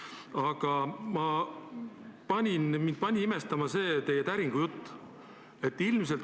Aga mind pani imestama teie täringujutt.